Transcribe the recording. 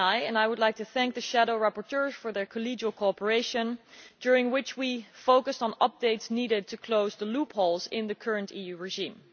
I would like to thank the shadow rapporteurs for the collegial cooperation during which we focussed on updates needed to close the loopholes in the current EU regime.